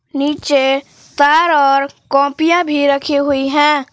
नीचे पैर और कॉपियां भी रखी हुई है।